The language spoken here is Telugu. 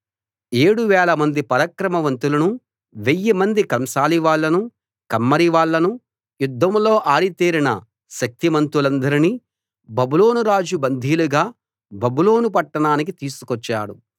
ఏడు వేలమంది పరాక్రమవంతులను వెయ్యిమంది కంసాలివాళ్ళను కమ్మరివాళ్ళను యుద్ధంలో ఆరితేరిన శక్తిమంతులందర్నీ బబులోనురాజు బందీలుగా బబులోను పట్టణానికి తీసుకొచ్చాడు